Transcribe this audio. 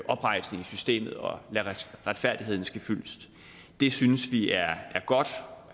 oprejsning i systemet og lade retfærdigheden ske fyldest det synes vi er godt